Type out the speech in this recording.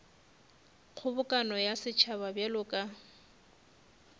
kgobokano ya setšhaba bjalo ka